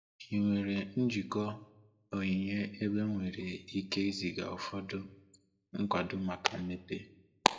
Ị nwere njikọ onyinye ebe m nwere ike iziga ụfọdụ nkwado maka mmepe?